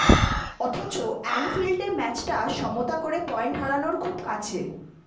অথচ অ্যানফিল্ডে ম্যাচটা সমতা করে পয়েন্ট হারানোর খুব কাছে